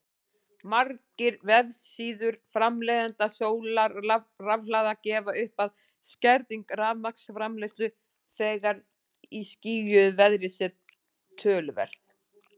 Margir vefsíður framleiðenda sólarrafhlaða gefa upp að skerðing rafmagnsframleiðslu þegar í skýjuðu veðri sé töluverð.